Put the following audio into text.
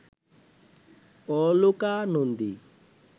Aloka Nandi